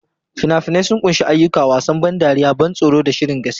Fina-finai sun ƙunshi ayyuka, wasan ban dariya, ban tsoro, da shirin gaskiya.